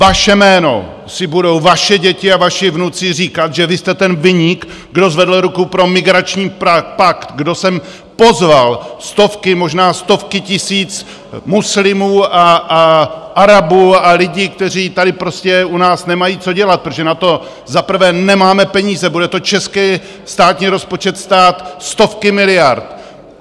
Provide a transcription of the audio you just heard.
Vaše jméno si budou vaše děti a vaši vnuci říkat, že vy jste ten viník, kdo zvedl ruku pro migrační pakt, kdo sem pozval stovky, možná stovky tisíc muslimů a Arabů a lidí, kteří tady prostě u nás nemají co dělat, protože na to za prvé nemáme peníze, bude to český státní rozpočet stát stovky miliard.